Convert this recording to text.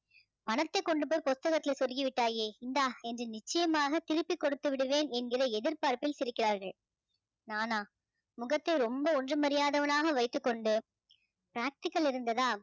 பணத்தை கொண்டுபோய் புஸ்தகத்தில சொருகிவிட்டாயே இந்தா என்று நிச்சயமாக திருப்பி கொடுத்து விடுவேன் என்கிற எதிர்பார்ப்பில் சிரிக்கிறார்கள் நானா முகத்தை ரொம்ப ஒன்றும் அறியாதவளாக வைத்துக்கொண்டு practical இருந்ததா